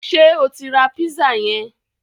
Ṣé o tí rá pízà yẹn?